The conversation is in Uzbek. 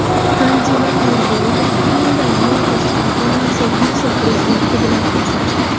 Tanzila Norboyeva Hyundai Motors kompaniyasi vitse-prezidenti bilan uchrashdi.